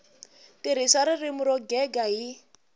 tirhisa ririmi ro gega hi